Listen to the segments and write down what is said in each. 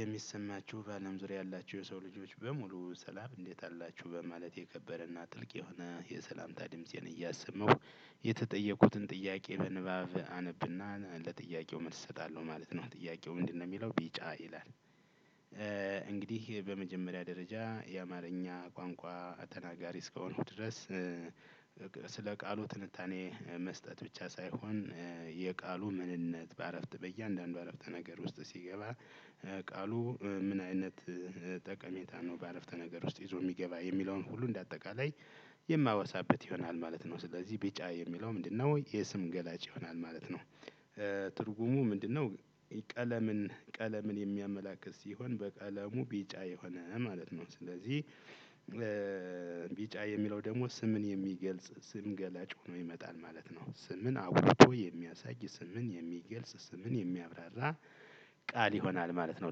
የሚሰማችሁ በአለም ዙሪያ ያላችሁ የሰው ልጆች በሙሉ ሰላም እንዴት አላችሁ በማለት የከበረና ጥልቅ የሆነ የሰላምታ ድምፄን እያሰማሁ የተጠየቁትን ጥያቄ በንባብ አነብና ለጥያቄው መልስ እሰጣለሁ ማለት ነው ጥያቄው ምንድነው? የሚለው ቢጫ ይላል። እንግዲህ በመጀመሪያ ደረጃ የአማርኛ ቋንቋ ተናጋሪ እስከሆንኩ ድረስ። ስለ ቃሉ ትንታኔ መስጠት ብቻ ሳይሆን። የቃሉ ምንነት በአረፍት በእያንዳንዱ አረፍተ ነገር ውስጥ ሲገባ ቃሉ ምን አይነት ጠቀሜታ ነው። በአረፍተ ነገር ውስጥ ይዞ የሚገባ የሚለውን ሁሉ እንደ አጠቃላይ የማወሳበት ይሆናል ማለት ነው። ስለዚህ ቢጫ የሚለው ምንድነው? የስም ገላጭ ይሆናል ማለት ነው። ትርጉሙ ምንድነው? ቀለምን ቀለምን የሚያመላክት ሲሆን በቀለሙ ቢጫ የሆነ ማለት ነው። ስለዚህ ቢጫ የሚለው ደግሞ ስምን የሚገልጽ ስም ገላጭ ሆኖ ይመጣል ማለት ነው። ስምን አጉልቶ የሚያሳይ ስምን የሚገልጽ ስምን የሚያብራራ ቃል ይሆናል ማለት ነው።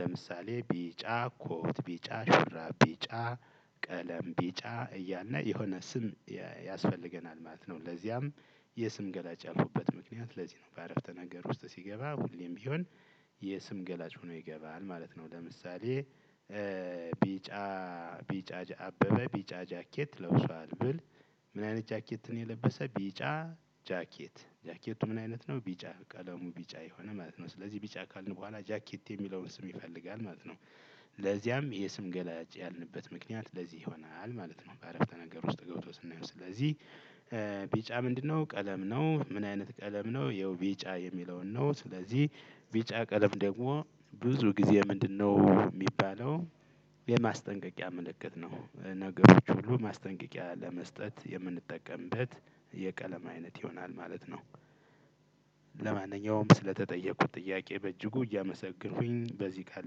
ለምሳሌ ቢጫ ኮት ቢጫ ሹራብ ቢጫ ቀለም ቢጫ እያልነ የሆነ ስም ያስፈልገናል ማለት ነው። ለዚያም የስም ገላጭ ያልኩበት ምክንያት ለዚህ ነው። በአረፍተ ነገር ውስጥ ሲገባ ሁሌም ቢሆን የስም ገላጭ ሆኖ ይገባል ማለት ነው። ለምሳሌ ቢጫ ቢጫ አበበ ቢጫ ጃኬት ለብሷል ብል። ምን አይነት ጃኬት የለበሰ ቢጫ ጃኬት ጃኬቱ ምን አይነት ነው? ቢጫ ቀለሙ ቢጫ የሆነ ማለት ነው። ስለዚህ ቢጫ ካልን በኋላ ጃኬት የሚለውን ስም ይፈልጋል ማለት ነው። ለዚያም የስም ገላጭ ያልንበት ምክንያት ለዚህ ይሆናል ማለት ነው። በአረፍተ ነገር ውስጥ ገብቶ ስናየው ስለዚህ ቢጫ ምንድነው? ቀለም ነው። ምን አይነት ቀለም ነው። ይኸው ቢጫ የሚለውን ነው። ስለዚህ ቢጫ ቀለም ደግሞ ብዙ ጊዜ ምንድነው የሚባለው? የማስጠንቀቂያ ምልክት ነው ነገሮች ሁሉ ማስጠንቀቂያ ለመስጠት የምንጠቀምበት የቀለም አይነት ይሆናል ማለት ነው። ለማንኛውም ስለተጠየቁት ጥያቄ በእጅጉ እያመሰገንኩኝ በዚህ ቃል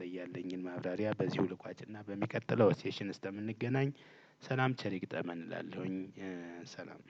ላይ ያለኝን ማብራሪያ በዚህ ልኳጭና በሚቀጥለው ሴሽን ስተምንገናኝ ሰላም ቸር ይግጠመን እላለሁኝ። ሰላም።